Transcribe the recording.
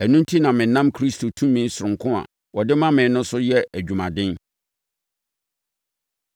Ɛno enti na menam Kristo tumi sononko a ɔde ma me no so yɛ adwumaden.